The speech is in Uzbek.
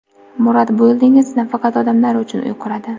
Murad Buildings nafaqat odamlar uchun uy quradi….